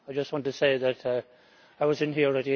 I just want to say that I was in here at